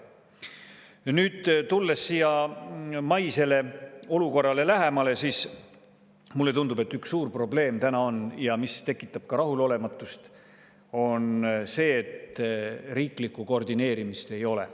Nüüd, tulles siia maisele olukorrale lähemale, mulle tundub, et üks suur probleem, mis tekitab ka rahulolematust, on see, et riiklikku koordineerimist ei ole.